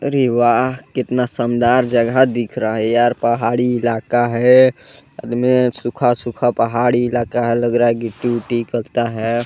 अरे वाह! कितना शानदार जगह दिख रहा है यार पहाड़ी इलाका है सामने सूखा- सूखा पहाड़ी इलाका है लग रहा है गिट्टी -उट्टी निकलता हैं।